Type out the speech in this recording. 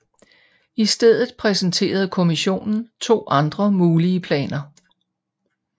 I stedet præsenterede kommissionen to andre mulige planer